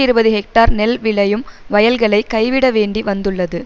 இருபது ஹெக்டர் நெல் விளையும் வயல்களை கைவிட வேண்டி வந்துள்ளது